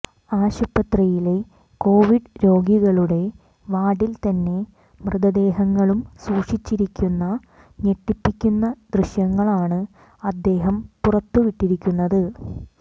ആശുപത്രിയിലെ കൊവിഡ് രോഗികളുടെ വാർഡിൽ തന്നെ മൃതദേഹങ്ങളും സൂക്ഷിച്ചിരിക്കുന്ന ഞെട്ടിപ്പിക്കുന്ന ദൃശ്യങ്ങളാണ് അദ്ദേഹം പുറത്തുവിട്ടിരിക്കുന്നത്